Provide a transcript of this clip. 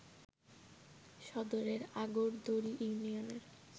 সদরের আগরদড়ি ইউনিয়নের